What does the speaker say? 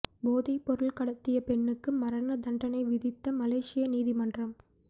போதைப்பொருள் கடத்திய பெண்ணுக்கு மரண தண்டனை விதித்த மலேசிய நீதிமன்றம்